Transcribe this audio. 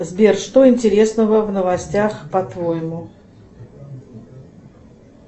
сбер что интересного в новостях по твоему